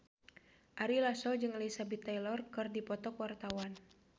Ari Lasso jeung Elizabeth Taylor keur dipoto ku wartawan